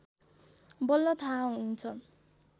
बल्ल थाहा हुन्छ